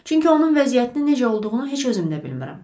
Çünki onun vəziyyətinin necə olduğunu heç özüm də bilmirəm.